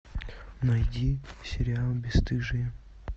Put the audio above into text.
найди сериал бесстыжие